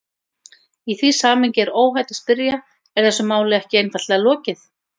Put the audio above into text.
Í því samhengi er óhætt að spyrja: Er þessu máli ekki einfaldlega lokið?